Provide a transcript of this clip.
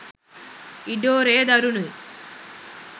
ඉඩෝරය දරුණුයි